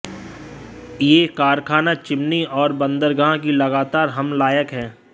यह कारखाना चिमनी और बंदरगाह की लगातार हम लायक है